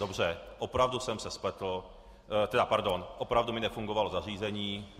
Dobře, opravdu jsem se spletl, tedy pardon, opravdu mi nefungovalo zařízení.